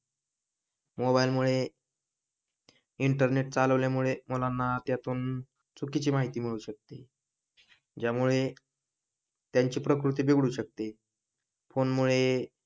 Mobile मुळे internet चालवल्या मुले मुलांना त्यातून चुकीची माहिती मिळू शकते ज्यामुळे त्यांची प्रकृती बिघडू शकते. फोन मुळे,